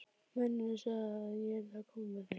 Mennirnir sögðu að ég yrði að koma með þeim.